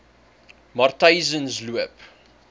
matyzensloop